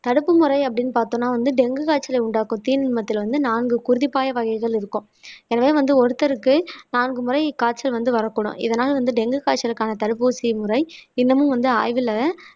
தடுப்பு முறை அப்படின்னு பார்த்தோம்னா வந்து டெங்கு காய்ச்சலை உண்டாக்கும் தீநுண்மத்தில வந்து நான்கு குருதி பாய வகைகள் இருக்கும் எனவே வந்து ஒருத்தருக்கு நான்கு முறை காய்ச்சல் வந்து வரக்கூடும் இதனால வந்து டெங்கு காய்ச்சலுக்கான தடுப்பூசி முறை இன்னமும் வந்து ஆய்வுல